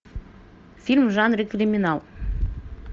фильм в жанре криминал